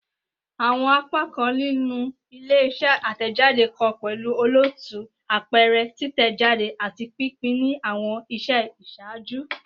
Awọn apakan ninu ile-iṣẹ atẹjade kan pẹlu olootu, apẹrẹ, titẹjade, ati pinpin ni awọn iṣẹ iṣaaju